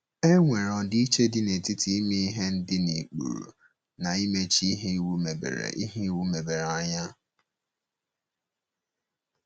E nwere ọdịiche dị n’etiti ime ihe dị na ụkpụrụ na imechi ihe iwu mebere ihe iwu mebere anya.